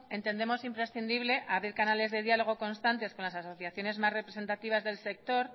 entendemos imprescindible abrir canales de diálogo constantes con las asociaciones más representativas del sector